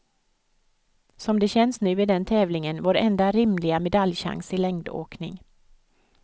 Som det känns nu är den tävlingen vår enda rimliga medaljchans i längdåkning.